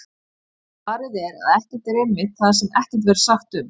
Svarið er að ekkert er einmitt það sem ekkert verður sagt um!